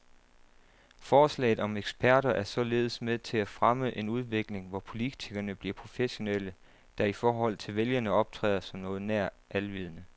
Forslaget om eksperter er således med til at fremme en udvikling, hvor politikerne bliver professionelle, der i forhold til vælgerne optræder som noget nær alvidende.